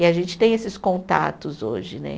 E a gente tem esses contatos hoje, né?